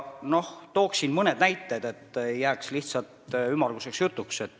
Toon mõned näited, et see ei jääks lihtsalt ümmarguseks jutuks.